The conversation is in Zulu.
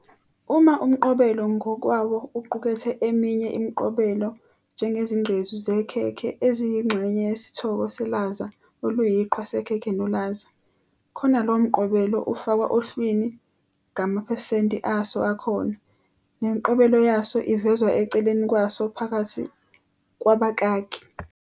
Uma umqobelo ngokwawo uqukethe eminye imiqobelo, njengezinqgqezu zekhekhe eziyingxenye yesithoko selaza oluyiqhwa "sekhekhe nolaza", khona lowo mqobelo ufakwa ohlwini ngamaohesenti aso akhona, nemiqobelo yaso ivezwa eceleni kwaso phakathi kwabakaki.